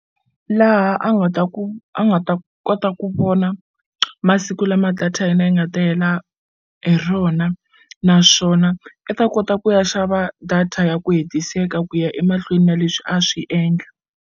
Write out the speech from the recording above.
Laha a nga ta ku a nga ta kota ku vona masiku lama data ya yena yi nga ta hela hi rona naswona i ta kota ku ya xava data ya ku hetiseka ku ya emahlweni na leswi a swi endla.